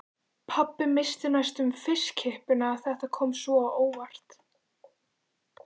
Pabbi missti næstum fiskkippuna, þetta kom svo óvænt.